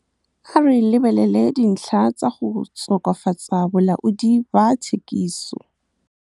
A re lebelele dintlha tsa go tokafatsa bolaodi ba thekiso.